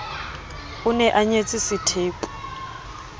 o ne a nyetse sethepu